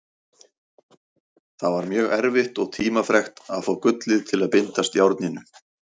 Það var mjög erfitt og tímafrekt að fá gullið til að bindast járninu.